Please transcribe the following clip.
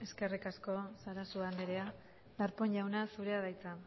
eskerrik asko sarasua anderea darpón jauna zurea da hitza